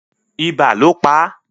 Ibà ló pá